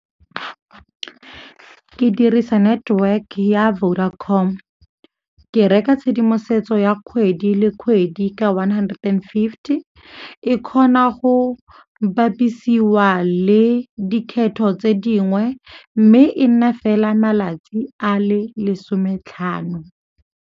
Ke dirisa network ya Vodacom. Ke reka tshedimosetso ya kgwedi le kgwedi ka one hundered and fifty, e kgona go bapisiwa le dikgetho tse dingwe mme e nna fela malatsi a le lesome tlhano.